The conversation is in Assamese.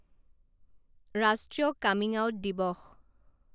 ৰাষ্ট্ৰীয় কামিঙআউট দিৱস